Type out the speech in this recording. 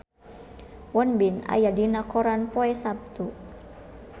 Won Bin aya dina koran poe Saptu